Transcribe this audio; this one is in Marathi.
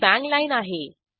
ही बांग लाईन आहे